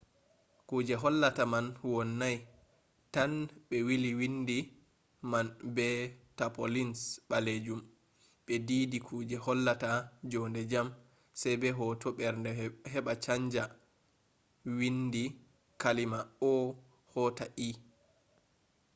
kuje hollata man wonnai tan ɓe willi windi man be tapaulins ɓalejum ɓe diidi kuje hollata jonde jam sai be hoto mbernde heɓa chanja windi kalima o” hota e